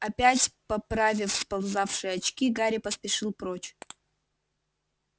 опять поправив сползавшие очки гарри поспешил прочь